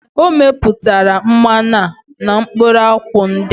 O meputara mmanu a na mkpuru akwu ndi a?